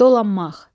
Dolanmaq.